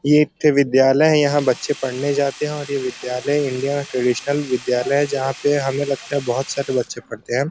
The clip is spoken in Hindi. ये एक ठे विद्यालय है। यहाँ बच्चे पढ़ने जाते हैं और ये विद्यालय इंडिया में ट्रेडिशनल विद्यालय है। जहाँ पे हमें लगता है बोहोत सारे बच्चे पढ़ते हैं।